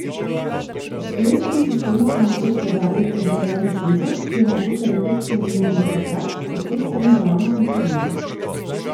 Obstoječemu sistemu so namreč dodali oddaljeni senzor, ki omogoča detekcijo vozil tudi takrat, ko cesta ni ravna in pregledna.